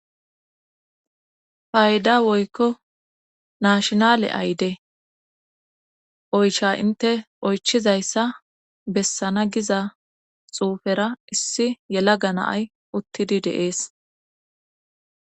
Payda woykko nashinale ayde oycha inte oychizayssa bessana giza xuufera issi yela ganaay uttidi deees